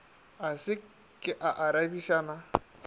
a se ke a arabišana